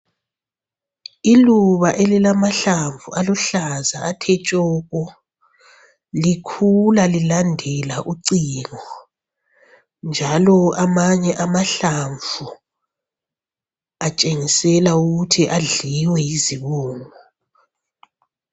Iluba elilamahlamvu aluhlaza athe tshoko, likhula lilandela ucingo. Njalo amanye amahlamvu atshengisela ukuthi adliwe yizibungu.